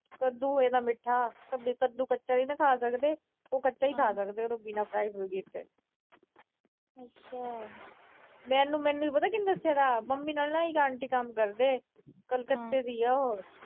ਕੱਦੂ ਹੋਏਗਾ ਮਿੱਠਾ। ਕੱਦੂ ਕੱਚਾ ਵੀ ਤਾਂ ਖਾ ਸਕਦੇ। ਉਹ ਕੱਚਾ ਵੀ ਖਾ ਸਕਦੇ, ਬਿਨਾਂ fry ਫਰੂਈ ਕੀਤੇ। ਮੈਨੂੰ ਅਹ ਮੈਨੂੰ ਪਤਾ ਕਿਹਨੇ ਦੱਸਿਆ ਥਾ, ਮੰਮੀ ਨਾਲ ਨਾ ਇਕ ਆਂਟੀ ਕੰਮ ਕਰਦੇ, ਕੱਲਕਤੇ ਦੀ ਆ ਉਹ।